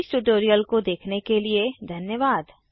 हमारे साथ जुड़ने के लिए धन्यवाद